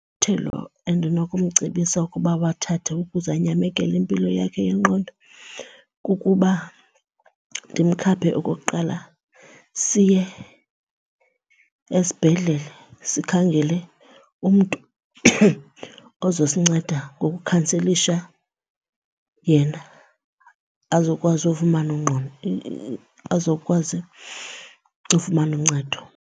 endinokumcebisa ukuba awathathe ukuze anyamekele impilo yakhe yengqondo kukuba ndimkhaphe okokuqala siye esibhedlele sikhangele umntu ozosinceda ngokukhanselisha yena azokwazi ufumana , azokwazi ufumane uncedo.